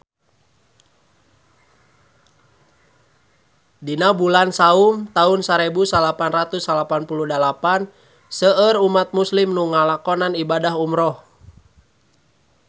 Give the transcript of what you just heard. Dina bulan Saum taun sarebu salapan ratus salapan puluh dalapan seueur umat islam nu ngalakonan ibadah umrah